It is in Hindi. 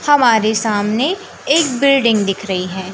हमारे सामने एक बिल्डिंग दिख रही है।